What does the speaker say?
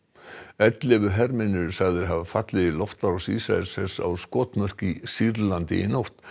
ellefu hermenn eru sagðir hafa fallið í loftárás Ísraelshers á skotmörk í Sýrlandi í nótt